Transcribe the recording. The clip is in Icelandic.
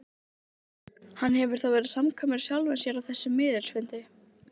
Hann hefur þá verið samkvæmur sjálfum sér á þessum miðilsfundi.